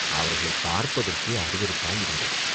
அவர்களைப் பார்ப்பதற்கே அருவருப்பாயிருந்தது.